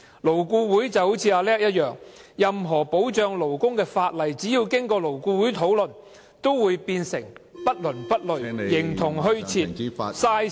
"勞顧會就好像"阿叻"一樣，任何保障勞工的法例，只要經過勞顧會討論，都會變成不倫不類......形同虛設，浪費時間。